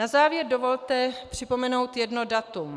Na závěr dovolte připomenout jedno datum.